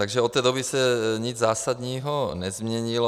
Takže od té doby se nic zásadního nezměnilo.